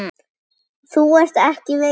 Þú ert ekkert veikur.